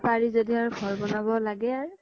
য্দি আৰ ঘৰ ব্নাব লাগে আৰ